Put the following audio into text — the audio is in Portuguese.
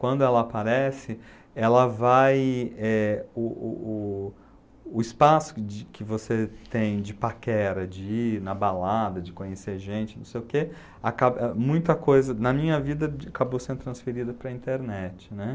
quando ela aparece, ela vai, eh... O o o o espaço de que você tem de paquera, de ir na balada, de conhecer gente, não sei o quê, acaba, muita coisa na minha vida acabou sendo transferida para a internet, né?